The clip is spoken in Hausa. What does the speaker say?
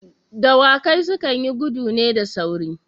Dawakai su kan yi gudu ne da sauri.